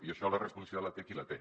i això la responsabilitat la té qui la té